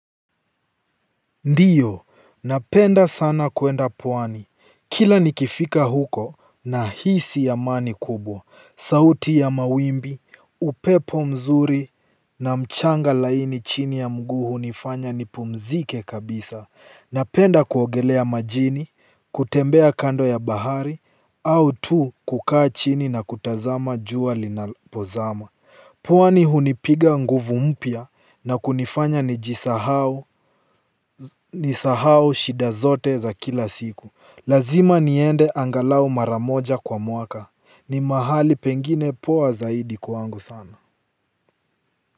Ndiyo, napenda sana kuenda pwani, kila nikifika huko nahisi amani kubwa, sauti ya mawimbi, upepo mzuri na mchanga laini chini ya mguu hunifanya nipumzike kabisa. Napenda kuogelea majini, kutembea kando ya bahari, au tu kukaa chini na kutazama jua linapozama. Pwani hunipiga nguvu mpya na kunifanya nijisahau nisahau shida zote za kila siku. Lazima niende angalau mara moja kwa mwaka ni mahali pengine poa zaidi kwangu sana.